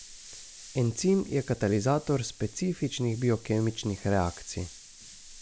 Encim je katalizator specifičnih biokemičnih reakcij.